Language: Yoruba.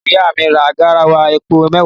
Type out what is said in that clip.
Ìyá mi ra garawa epo mẹwa